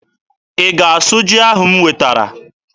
Ị ga-asụ ji ahụ m wetere?